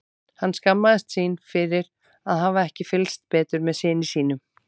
Hann skammaðist sín fyrir að hafa ekki fylgst betur með syni sínum.